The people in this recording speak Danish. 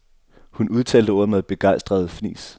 Hun udtalte ordet med begejstrede fnis.